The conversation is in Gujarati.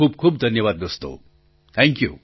ખૂબ ખૂબ ધન્યવાદ દોસ્તો થેંકયૂ